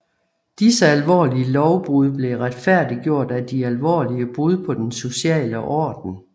Disse alvorlige lovbrud blev retfærdiggjort af de alvorlige brud på den sociale orden